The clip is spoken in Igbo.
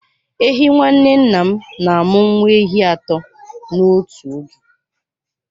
Ehi nwanne nna m na-amụ nwa ehi atọ n'otu oge.